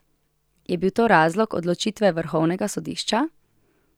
Je bil to razlog odločitve vrhovnega sodišča?